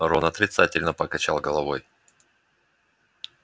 рон отрицательно покачал головой